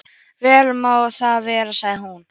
Vel má það vera, sagði hún.